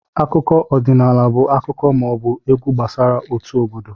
Akụkọ ọdịnaala bụ akụkọ ma ọ bụ egwu gbasara otu obodo